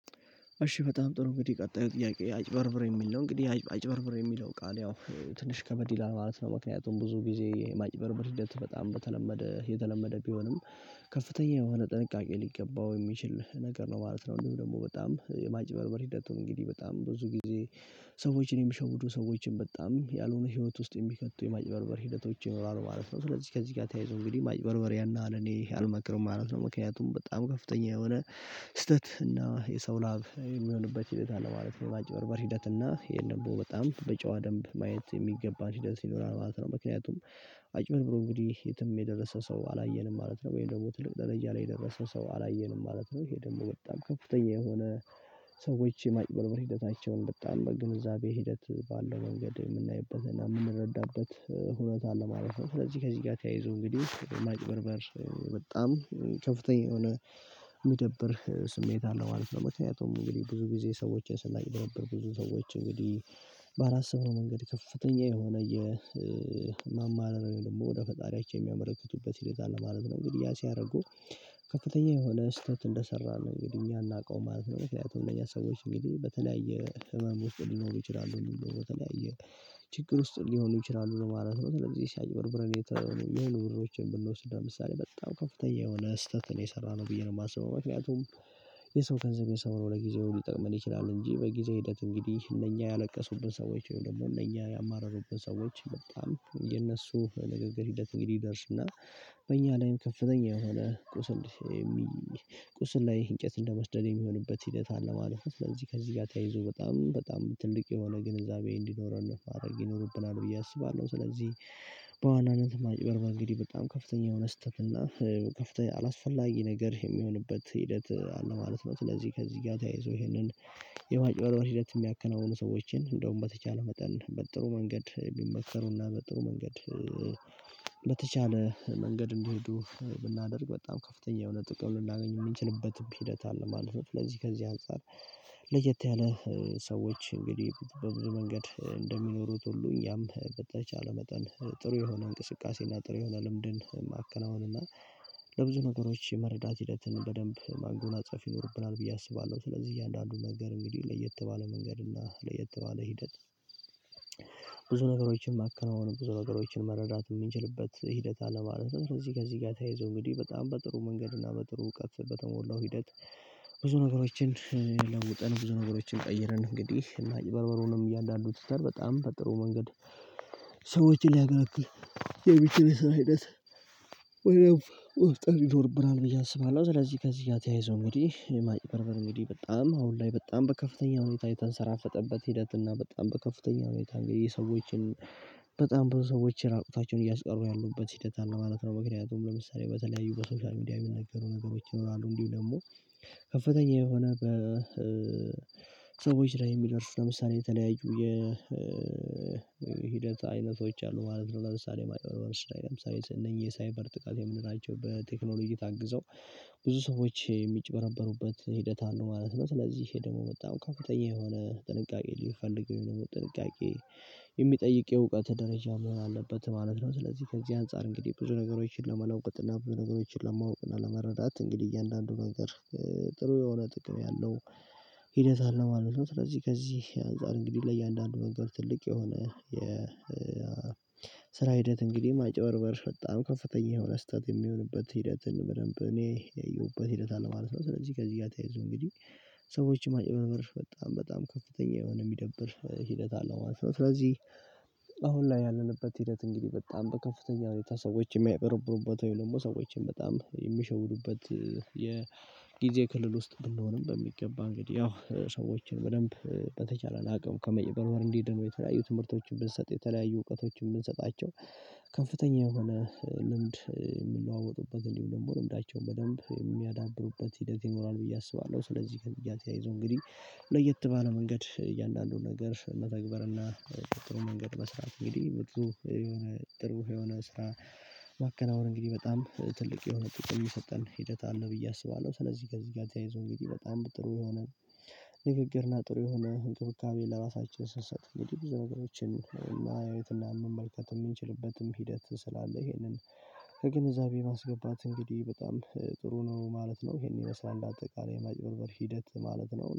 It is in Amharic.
እሺ በጣም ጥሩ እንግዲህ ቀጣዩ ጥያቄ አጭበርብሬ የሚል ነው እንግዲህ አጭበርብሬ የሚለው ቃል ያው ትንሽ ከበድ ይላል ማለት ነው። ምክንያቱም ብዙ ጊዜ ማጭበርበር ሂደት በጣም በተለመደ የተለመደ ቢሆንም ከፍተኛ የሆነ ጥንቃቄ ሊገባው የሚችል ነገር ነው ማለት ነው። እንዲሁ ደግሞ በጣም የማጭበርበር ሂደቱን እንግዲህ በጣም ብዙ ጊዜ ሰዎችን የሚሸውዱ ሰዎችን በጣም ያልሆነ ህይወት ውስጥ የሚከቱ የማጭበርበር ሂደቶች ይኖራሉ ማለት ነው። ስለዚህ ከዚህ ጋር ተያይዞ እንግዲህ ማጭበርበሪያና ለኔ አልመክርም ማለት ነው። ምክንያቱም በጣም ከፍተኛ የሆነ ስህተት እና የሰው ላብ የሚበሉበት ሂደት አለ ማለት ነው። ማጭበበር ሂደት እና ይሄን ደግሞ በጣም በጨዋ ደንብ ማየት የሚገባ ሂደት ይኖራል ማለት ነው። ምክንያቱም አጭበርብሮ እንግዲህ የትም የደረሰው ሰው አላየንም ማለት ነው። ወይም ደግሞ ትልቅ ደረጃ ላይ የደረሰ ሰው አላየንም ማለት ነው። ይሄ ደግሞ በጣም ከፍተኛ የሆነ ሰዎች የማጭበርበር ሂደታቸውን በጣም በግንዛቤ ሂደት ባለው መንገድ የምናይበት እና የምንረዳበት ሁኔታ አለ ማለት ነው። ስለዚህ ከዚህ ጋር ተያይዞ እንግዲህ ማጭበርበር በጣም ከፍተኛ የሆነ የሚደብር ስሜት አለው ማለት ነው። ምክንያቱም እንግዲህ ብዙ ጊዜ ሰዎችን ስናይ ድንብር ብዙ ሰዎች እንግዲህ ባላሰብነው መንገድ ከፍተኛ የሆነ የማማረር ወይም ደግሞ ወደ ፈጣሪያቸው የሚያመለክቱበት ሂደት አለ ማለት ነው። እንግዲህ ያ ሲያደርጉ ከፍተኛ የሆነ ስህተት እንደሰራን እንግዲህ እኛ አናውቀውም ማለት ነው። ምክንያቱም እነኛ ሰዎች እንግዲ በተለያየ ህመም ውስጥ ሊኖሩ ይችላሉ በተለያየ ችግር ውስጥ ሊሆኑ ይችላሉ ለማለት ነው። ስለዚህ አጭበርብረን የተ የሆኑ ብሮችን ብንወስድ ለምሳሌ በጣም ከፍተኛ የሆነ ስህተት ነው የሰራነው ብዬ ነው የማስበው። ምክንያቱም የሰው ገንዘብ የሰው ነው ለጊዜውን ሊጠቅመን ይችላል እንጂ በጊዜ ሂደት እንግዲህ እነኛ ያለቀሱብን ሰዎች ደግሞ እነኛ ያማረሩብን ሰዎች በጣም የነሱ ንግግር ሂደት እንዲደርስ እና በእኛ ላይም ከፍተኛ የሆነ ቁስል የሚ ቁስል ላይ እንጨት እንደ መፍጠድ የሚሆንበት ሂደት አለ ማለት ነው። ስለዚ ከዚህ ጋር ተያይዞ በጣም በጣም ትልቅ የሆነ ግንዛቤ እንወኸዲኖረን ማረግ ይኖርብናል ብዬ አስባለሁ። ስለዚህ በዋናነት ማጭበር በእንግዲህ በጣም ከፍተኛ የሆነ ስህተት እና ከፍተኛ አላስፈላጊ ነገር የሚሆንበት ሂደት አለ ማለት ነው። ስለዚህ ከዚህ ጋር ተያይዞ ይሄንን የማጭበልበል ሂደት የሚያከናውኑ ሰዎችን እንደውም በተቻለ መጠን በጥሩ መንገድ ቢመከሩና በጥሩ መንገድ በተቻለ መንገድ እንዲሄዱ ብናደርግ በጣም ከፍተኛ የሆነ ጥቅም ልናገኝ የምንችልበትም ሂደት አለ ማለት ነው። ለዚህ ከዚህ አንፃር ለየት ያለ ሰዎች እንግዲህ በብዙ መንገድ እንደሚኖሩት ሁሉ እኛም በተቻለ መጠን ጥሩ የሆነ እንቅስቃሴና ጥሩ የሆነ ልምድን ማከናወንና እና ለብዙ ነገሮች መረዳት ሂደትን በደንብ ማንጎናጸፍ ይኖርብናል ብዬ አስባለሁ። ስለዚህ እያንዳንዱን ነገር እንግዲህ ለየት ባለ መንገድ እና ለየት ባለ ሂደት ብዙ ነገሮችን ማከናወን ብዙ ነገሮችን መረዳት የሚንችልበት ሂደት አለ። ማለት ከዚህ ከዚህ ጋር ተያይዞ እንግዲህ በጣም በጥሩ መንገድ እና በጥሩ እውቀት በተሞላው ሂደት ብዙ ነገሮችን ለውጠን ብዙ ነገሮችን ቀየርን እንግዲህ እና ማጭበርበሩንም እያንዳንጁ ትተር በጣም በጥሩ መንገድ ሰዎችን ሊያገለግል የሚችል ስራ አይነት በደንብ ወፍጠን ይኖርብናል ብዬ አስባለሁ። ስለዚህ ከዚህ ተያይዘው እንግዲህ የማጭ በርበር እንግዲህ በጣም አሁን ላይ በጣም በከፍተኛ ሁኔታ የተንሰራፈጠበት ሂደት እና በጣም በከፍተኛ ሁኔታ የሰዎችን በጣም ብዙ ሰዎችን ራቁታቸውን እያስቀሩ ያሉበት ሂደት አለ ማለት ነው። ምክንያቱም ለምሳሌ በተለያዩ በሶሻል ሚዲያ የሚነገሩ ነገሮች ይኖራሉ እንዲሁ ደግሞ ከፍተኛ የሆነ በሰዎች ላይ የሚደርሱ ለምሳሌ የተለያዩ የሂደት አይነቶች አሉ ማለት ነው። ለምሳሌ ማጭበርበሮች ላይ ለምሳሌ እነኚህ ሳይበር ጥቃት የምንላቸው በቴክኖሎጂ ታግዘው ብዙ ሰዎች የሚጭበረበሩበት ሂደት አለው ማለት ነው። ስለዚህ ይሄ ደግሞ በጣም ከፍተኛ የሆነ ጥንቃቄ ሊፈልግ ወይም ደግሞ ጥንቃቄ የሚጠይቅ የእውቀት ደረጃ መሆን አለበት ማለት ነው። ስለዚህ ከዚህ አንፃር እንግዲህ ብዙ ነገሮችን ለመለወጥ እና ብዙ ነገሮችን ለማወቅ እና ለመረዳት እንግዲህ እያንዳንዱ ነገር ጥሩ የሆነ ጥቅም ያለው ሂደት አለ ማለት ነው። ስለዚህ ከዚህ አንፃር እንግዲህ ለእያንዳንዱ ነገር ትልቅ የሆነ የ የስራ ሂደት እንግዲህ ማጭበርበር በጣም ከፍተኛ የሆነ ስህተት የሚሆንበት ሂደትን በደንብ እኔ ያየሁበት ሂደት አለ ማለት ነው። ስለዚህ ከዚህ ጋር ተያይዞ እንግዲህ ሰዎች ማጨበበር በጣም በጣም ከፍተኛ የሆነ የሚደብር ሂደት አለው ማለት ነው። ስለዚህ አሁን ላይ ያለንበት ሂደት እንግዲህ በጣም በከፍተኛ ሁኔታ ሰዎች ወይም ደግሞ ሰዎችን በጣም የሚሸውዱበት የጊዜ ክልል ውስጥ ብንሆንም በሚገባ እንግዲህ ያው ሰዎችን በደንብ በተቻለ አቅም ከመጭበርበር እንዲ ዲኑ የተለያዩ ትምህርቶችን ብንሰጥ የተለያዩ እውቀቶችን የምንሰጣቸው ከፍተኛ የሆነ ልምድ የሚለዋወጡበትን እንዲሁ ደግሞ ልምዳቸውን በደንብ የሚያዳብሩበት ሂደት ይኖራል ብዬ አስባለሁ። ስለዚህ ከዚጋ ተያይዘው እንግዲህ ለየት ባለው መንገድ እያንዳንዱን ነገር መተግበር እና የጥሩ መንገድ መስራት እንግዲህ ብዙ የሆነ ጥሩ የሆነ ስራ ማከናወን እንግዲህ በጣም ትልቅ የሆነ ጥቅም የሰጠን ሂደት አለው ብዬ አስባለሁ። ስለዚህ ከዚጋ ተያይዞ እንግዲህ በጣም በጥሩ የሆነ ንግግርና ጥሩ የሆነ እንክብካቤል ለራሳችን ስንሰጥ እንዴ ብዙ ነገሮችን ማየትና መመልከት የምንችልበትም ሂደት ስላለ ይሄንን ከግንዛቤ ማስገባት እንግዲህ በጣም ጥሩ ነው ማለት ነው። ይሄን ይመስላል አጠቃላይ የማጭበርበር ሂደት ማለት ነው